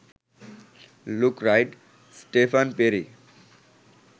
look Wright, Stefan peri